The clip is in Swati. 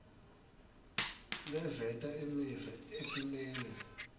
leveta imiva etimeni